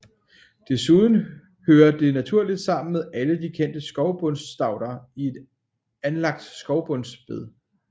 Desuden hører den naturligt sammen med alle de kendte skovbundsstauder i et anlagt skovbundsbed